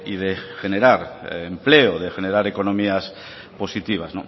de generar empleo de generar economías positivas